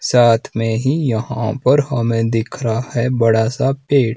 साथ मे ही यहां पर हमें दिख रहा है बड़ा सा पेड़--